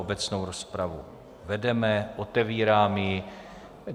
Obecnou rozpravu vedeme, otevírám ji.